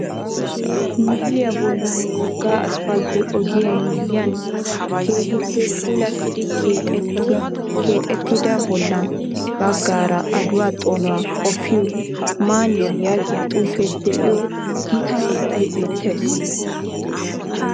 Misiliya bollan wogga asppaltte ogiya miyyiyan keehippe puulattidi keexettida bollan baggaara adiwa xoonuwa qoppiyo man''iya yaagiya xuufee de'iyo Gita inxxay beettees